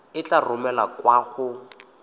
e tla romelwa kwa go